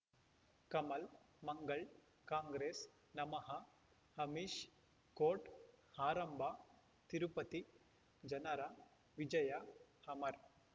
ಕಮಲ್ ಮಂಗಳ್ ಕಾಂಗ್ರೆಸ್ ನಮಃ ಅಮಿಷ್ ಕೋರ್ಟ್ ಆರಂಭ ತಿರುಪತಿ ಜನರ ವಿಜಯ ಅಮರ್